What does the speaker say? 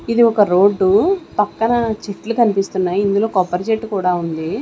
ఇది ఒక రోడ్డు పక్కన చెట్లు కనిపిస్తున్నాయి ఇందులో కొబ్బరి చెట్టు కూడా ఉంది.